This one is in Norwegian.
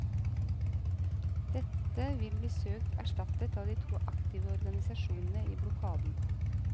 Dette vil bli søkt erstattet av de to aktive organisasjonene i blokaden.